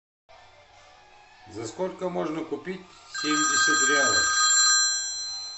за сколько можно купить семьдесят реалов